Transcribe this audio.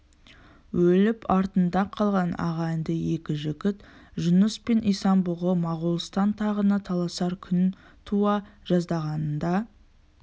өліп артында қалған ағайынды екі жігіт жұныс пен исан-бұғы моғолстан тағына таласар күн туа жаздағанында